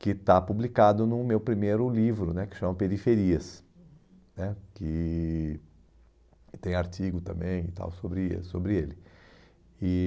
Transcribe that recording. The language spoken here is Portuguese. que está publicado no meu primeiro livro né, que chama Periferias né, que que tem artigo também e tal sobre eh, sobre ele. E